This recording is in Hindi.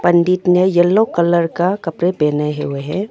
पंडित ने येलो कलर का कपरे पहने हुए हैं।